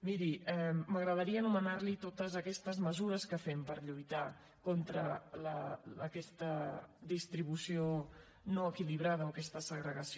miri m’agradaria anomenar li totes aquestes mesures que fem per lluitar contra aquesta distribució no equilibrada o aquesta segregació